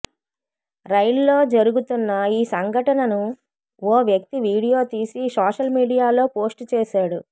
రైల్లో జరుగుతున్న ఈ సంఘటనను ఓ వ్యక్తి వీడియో తీసి సోషల్ మీడియాలో పోస్ట్ చేశాడు